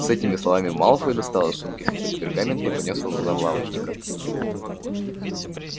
с этими словами малфой достал из сумки свиток пергамента и поднёс его к глазам лавочника